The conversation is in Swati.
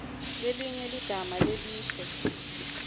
lelinye ligama lelisho